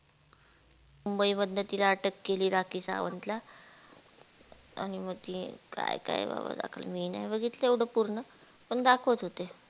मुंबई मधन तिला अटक केली राखी सावंतला आणि मग ते काय काय बाबा दाखवत मी नाई बघितलं एवढ पूर्ण